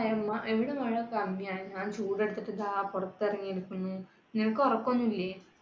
ഇവിടെ മഴ കമ്മിയാ. ഞാൻ ചൂട് എടുത്തിട്ട് ഇതാ പുറത്തിറങ്ങി നിൽക്കുന്നു. നിനക്ക് ഉറക്കം ഒന്നും ഇല്ലേ?